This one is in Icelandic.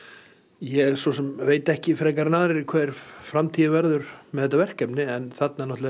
ég svo sem veit ekki frekar en aðrir hvernig framtíðin verður með þetta verkefni en þarna